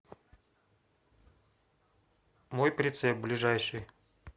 мой прицеп ближайший